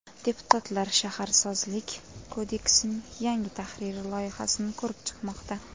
Deputatlar Shaharsozlik kodeksining yangi tahriri loyihasini ko‘rib chiqmoqda.